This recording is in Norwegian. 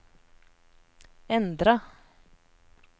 endra